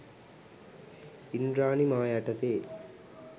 ඉන්ද්‍රාණි මා යටතේ